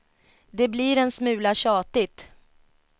Det blir en smula tjatigt.